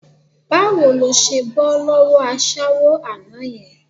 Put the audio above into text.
Báwo ló ṣe bọ́ lọ́wọ́ aṣẹ́wó àná yẹn?